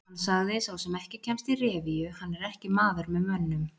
Hann sagði: Sá sem ekki kemst í revíu, hann er ekki maður með mönnum.